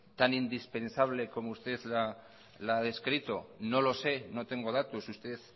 tan indispensable como usted lo ha descrito no lo sé no tengo datos usted